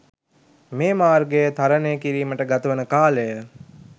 මේ මාර්ගය තරණය කිරීමට ගතවන කාලය